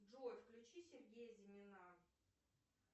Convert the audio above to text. джой включи сергея зимина